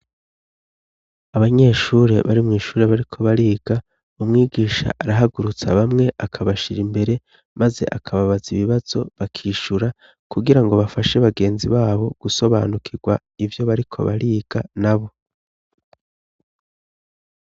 Abanyeshure bari mw'ishure bariko bariga, umwigisha arahagurutsa bamwe akabashira imbere maze akababaza ibibazo bakishura kugirango bafashe bagenzi babo gusobanukirwa ivyo bariko bariga nabo.